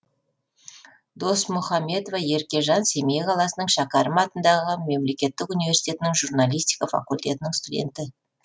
досмухамбетова еркежан семей қаласының шәкәрім атындағы мемлекеттік университетінің журналистика факультетінің студенті